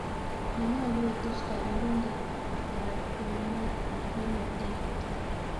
Manyolu kotuch kapelindet karitnnemo tai.